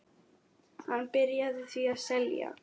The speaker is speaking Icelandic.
Hann byrjaði því að selja.